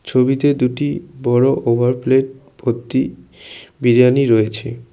ছবিতে দুইটি বড়ো ওভার প্লেট ভর্তি বিরিয়ানি রয়েছে।